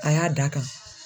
A y'a d'a kan.